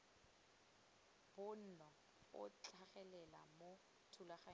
bonno a tlhagelela mo thulaganyong